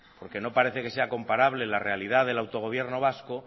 porque no parece que sea comparable la realidad del autogobierno vasco